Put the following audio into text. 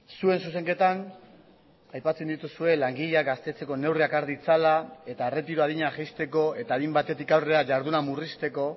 zuen zuzenketan aipatzen dituzue langileak gaztetzeko neurriak har ditzala eta erretiro adina jaisteko eta adin batetik aurrera jarduna murrizteko